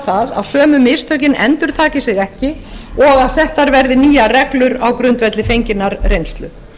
það að sömu mistökin endurtaki sig ekki og að settar verði nýjar reglur á grundvelli fenginnar reynslu